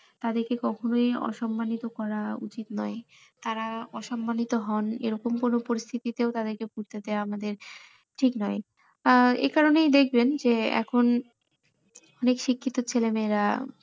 তাদের কে কখনোই অসম্মানিত করা উচিৎ নয় তারা অসম্মানিত হন এরকম কোনো পরিস্থিতিতেও তাদের কে বুঝতে দেওয়া আমাদের ঠিক নয় আহ এ কারণেই দেখবেন যে এখন, অনেক শিক্ষিত ছেলে মেয়েরা,